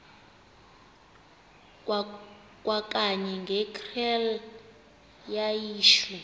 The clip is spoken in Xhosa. kwakanye ngekrele wayishu